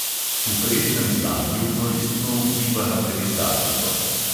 V presnem stanju koristno vpliva na peristaltiko.